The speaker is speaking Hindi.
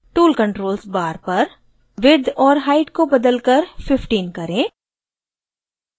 tool controls bar पर width और height को बदलकर 15 करें